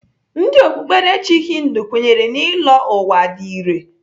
Ndị okpukperechi Hindu kwenyere na ịlọ ụwa dị irè.